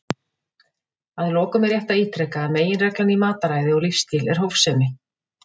Að lokum er rétt að ítreka að meginreglan í mataræði og lífsstíl er hófsemi.